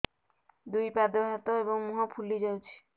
ଦୁଇ ପାଦ ହାତ ଏବଂ ମୁହଁ ଫୁଲି ଯାଉଛି